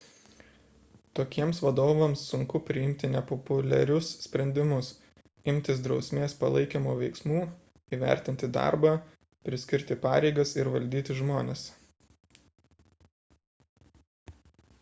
tokiems vadovams sunku priimti nepopuliarius sprendimus imtis drausmės palaikymo veiksmų įvertinti darbą priskirti pareigas ir valdyti žmones